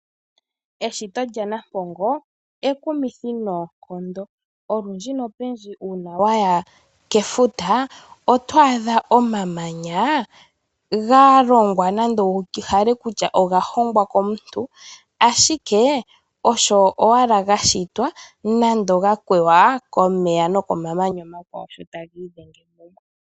Eshito lyaNampongo ekumithi noonkondo olundji nopendji uuna waya kefuta oto adha omamanya galonga nande tohala kutya ogahongwa komuntu ashike ashike osho owala gashitwa nande gakweywa komeya nokomamanya omakwawo sho taga idhenge kumwe.